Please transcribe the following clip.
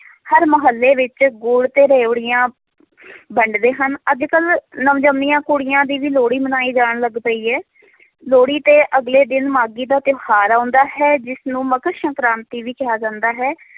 ਹਰ ਮੁਹੱਲੇ ਵਿੱਚ ਗੁੜ ਤੇ ਰਿਓੜੀਆਂ ਵੰਡਦੇ ਹਨ, ਅੱਜ ਕੱਲ੍ਹ ਨਵ ਜੰਮੀਆਂ ਕੁੜੀਆਂ ਦੀ ਵੀ ਲੋਹੜੀ ਮਨਾਈ ਜਾਣ ਲੱਗ ਪਈ ਹੈ ਲੋਹੜੀ ਦੇ ਅਗਲੇ ਦਿਨ ਮਾਘੀ ਦਾ ਤਿਉਹਾਰ ਆਉਂਦਾ ਹੈ, ਜਿਸਨੂੰ ਮਕਰ ਸੰਕਰਾਤੀ ਵੀ ਕਿਹਾ ਜਾਂਦਾ ਹੈ